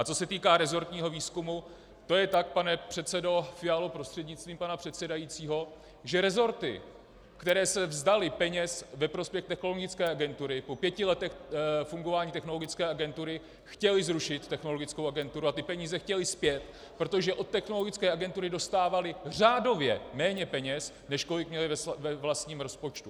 A co se týká resortního výzkumu, to je tak, pane předsedo Fialo prostřednictvím pana předsedajícího, že resorty, které se vzdaly peněz ve prospěch Technologické agentury, po pěti letech fungování Technologické agentury chtěly zrušit Technologickou agenturu a ty peníze chtěly zpět, protože od Technologické agentury dostávaly řádově méně peněz, než kolik měly ve vlastním rozpočtu.